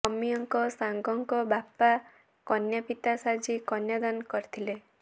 ଅମୀୟଙ୍କ ସାଙ୍ଗଙ୍କ ବାପା କନ୍ୟାପିତା ସାଜି କନ୍ୟା ଦାନ କରିଥିଲେ